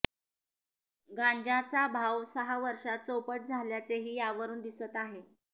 गांजाचा भाव सहा वर्षात चौपट झाल्याचेही यावरून दिसत आहे